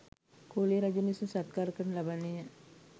කෝලිය රජුන් විසින් සත්කාර කරනු ලබන්නේ ය.